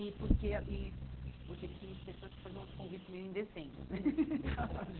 e porque e porque tinha pessoas que faziam os convites meio indecentes.